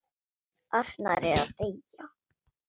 Arnar er að deyja.